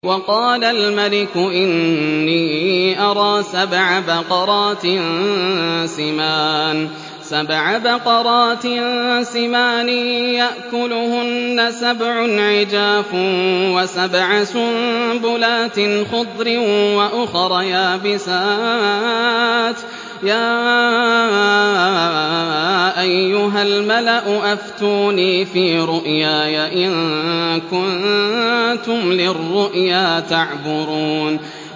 وَقَالَ الْمَلِكُ إِنِّي أَرَىٰ سَبْعَ بَقَرَاتٍ سِمَانٍ يَأْكُلُهُنَّ سَبْعٌ عِجَافٌ وَسَبْعَ سُنبُلَاتٍ خُضْرٍ وَأُخَرَ يَابِسَاتٍ ۖ يَا أَيُّهَا الْمَلَأُ أَفْتُونِي فِي رُؤْيَايَ إِن كُنتُمْ لِلرُّؤْيَا تَعْبُرُونَ